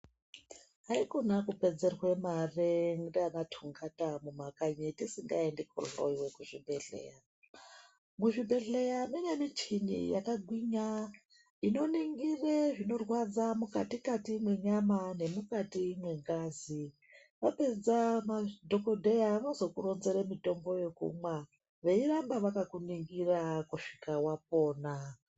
Haikona kupedzerwa mare ndianaTungata mumakanyi tisingaendi kohloyiwe kuzvibhehleya ,muzvibhehleya mune michini yakagwinya inoningire zvinorwadza mukatikati mwenyama nemukati mwengazi vapedza madhokodheya vanozokuronzere mitombo yekumwa veiramba vakakuningira kusvika wapora.